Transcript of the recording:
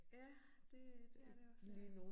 Ja det øh det er det også her